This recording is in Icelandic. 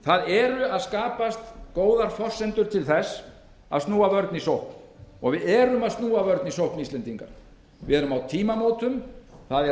það eru að skapast góðar forsendur til að snúa vörn í sókn við erum að snúa vörn í sókn íslendingar við erum á tímamótum það er